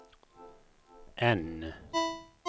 N